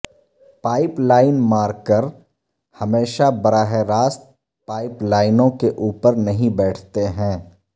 pipe line marker ہمیشہ براہ راست پائپ لائنوں کے اوپر نہیں بیٹھتے ہیں